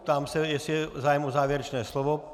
Ptám se, jestli je zájem o závěrečné slovo.